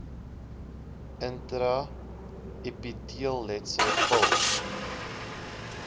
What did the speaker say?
intra epiteelletsel pil